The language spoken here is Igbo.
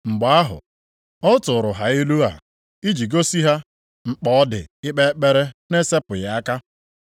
Mgbe ahụ ọ tụụrụ ha ilu a iji gosi ha mkpa ọ dị ikpe ekpere na-esepụghị aka,